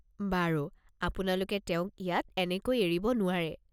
বাৰু, আপোনালোকে তেওঁক ইয়াত এনেকৈ এৰিব নোৱাৰে।